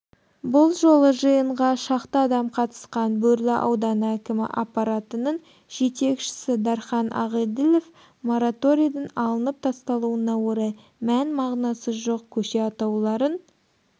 бұл жолы жиынға шақты адам қатысқан бөрлі ауданы әкімі аппаратының жетекшісі дархан ағеділов мораторидің алынып тасталуына орай мән-мағынасы жоқ көше атауларын